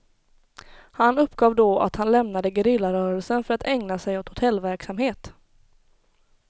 Han uppgav då att han lämnade gerillarörelsen för att ägna sig åt hotellverksamhet.